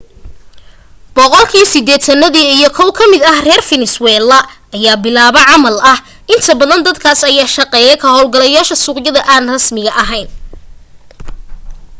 boqolkii sideetani iyo kow ka mida reer fenesweela ayaa bilaa camal ah inta badan dadkaas aan shaqayni waxay ka hawlgalaan suuqyada aan rasmiga ahayn